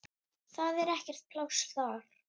Það er ekkert pláss þar.